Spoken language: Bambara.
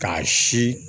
K'a si